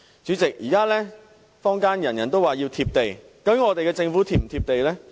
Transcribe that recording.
主席，現在坊間人人都說要"貼地"，究竟我們的政府是否"貼地"呢？